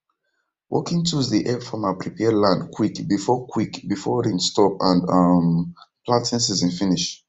working tools dey help farmer prepare land quick before quick before rain stop and um planting season finish